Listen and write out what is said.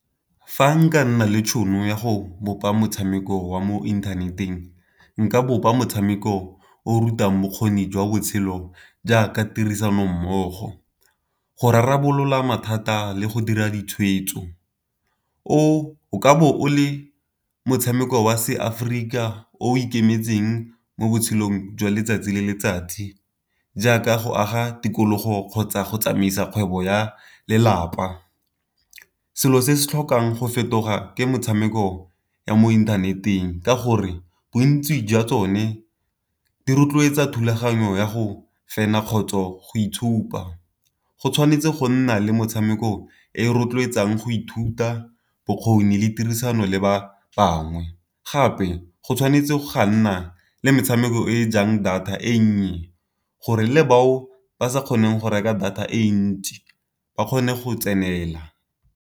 Fa nka nna le tšhono ya go bopa motshameko wa mo inthaneteng nka bopa motshameko o o rutang bokgoni jwa botshelo jaaka tirisano mmogo, go rarabolola mathata le go dira ditshwetso. O o ka bo o le motshameko wa seAforika o ikemetseng mo botshelong jwa letsatsi le letsatsi, jaaka go aga tikologo kgotsa go tsamaisa kgwebo ya lelapa. Selo se se tlhokang go fetoga ke metshameko ya mo inthaneteng ka gore bontsi jwa tsone di rotloetsa thulaganyo ya go fenya kgotsa go go itshupa, go tshwanetse go nna le motshameko e rotloetsang go ithuta bokgoni le tirisano le ba bangwe. Gape go tshwanetse ga nna le metshameko e jang data e nnye gore le bao ba sa kgoneng go reka data e ntsi ba kgone go tsenela.